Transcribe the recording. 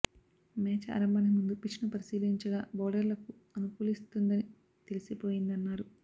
match ఆరంభానికి ముందు pitch ను పరిశీలించగా బౌలర్లకు అనుకూలిస్తుందని తెలిసిపోయిందన్నారు